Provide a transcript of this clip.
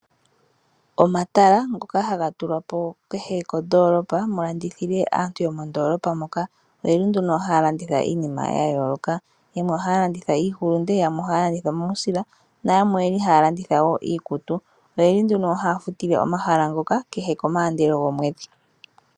Omatala ngoka haga tulwapo kehe kondoolopa mu landithile aantu yomondoolopa moka oyeli nduno haya landitha iinima yayooloka. Yamwe ohaya landitha iihulunde, yamwe ohaya landitha omausila nayamwe oyeli haya landitha iikutu. Oyeli nduno haya futile omahala ngoka kehe komaandelo gomwedhi.